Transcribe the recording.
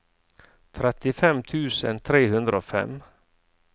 trettifem tusen tre hundre og fem